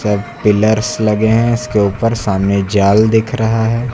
Pillars लगे हैं इसके ऊपर सामने जाल दिख रहा है।